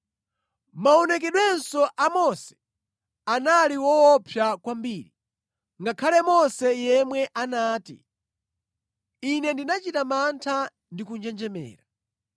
Maonekedwenso a Mose anali woopsa kwambiri, ngakhale Mose yemwe anati, “Ine ndinachita mantha ndi kunjenjemera.”